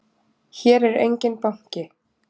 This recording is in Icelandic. Hér er enginn banki!